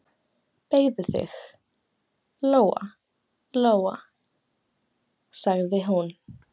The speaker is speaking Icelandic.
Beygðu þig, Lóa-Lóa, sagði hún.